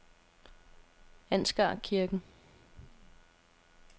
Ansgarkirken